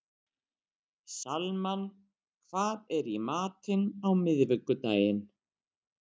Salmann, hvað er í matinn á miðvikudaginn?